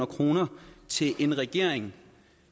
kroner til en regering